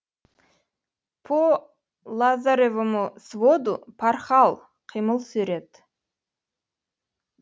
по лазоревому своду порхал қимыл сурет